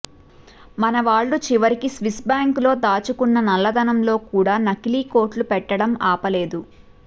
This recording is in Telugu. మనవాళ్ళు చివరికి స్విస్ బ్యాంకు లో దాచుకున్న నల్లదనంలో కూడా నకిలీ కోట్లు పెట్టడం ఆపలేదు